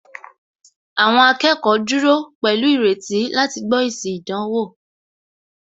Àwọn akẹ́kọ̀ọ́ dúró pẹ̀lú ìrètí láti gbó èsì ìdánwò